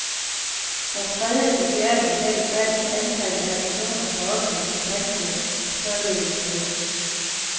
Fra tredje til fjerde kvartal faldt antallet af personer på offentlig kontanthjælp således med .